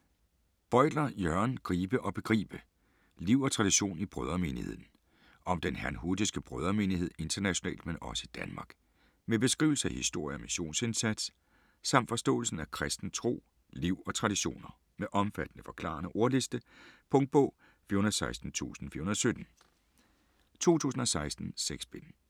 Bøytler, Jørgen: Gribe og begribe: liv og tradition i Brødremenigheden Om den herrnhutiske Brødremenighed internationalt men også i Danmark. Med beskrivelse af historie og missionsindsats, samt forståelsen af kristen tro, liv og traditioner. Med omfattende, forklarende ordliste. Punktbog 416417 2016. 6 bind.